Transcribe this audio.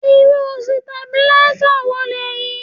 Irú Sitabílísà wo lèyí?